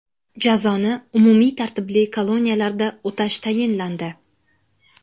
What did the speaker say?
Jazoni umumiy tartibli koloniyalarda o‘tash tayinlandi.